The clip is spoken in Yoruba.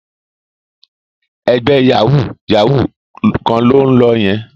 Ẹgbẹ́ yàwúú-yàwuù kan ló ń lọ yẹn